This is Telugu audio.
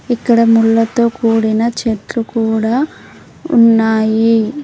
ఇక్కడ ముళ్ళతో కూడిన చెట్లు కూడా ఉన్నాయి.